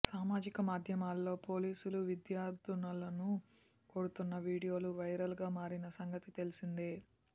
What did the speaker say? సామాజిక మాధ్యమాల్లో పోలీసులు విద్యార్థులను కొడుతున్న వీడియోలు వైరల్గా మారిన సంగతి తెలిసిందే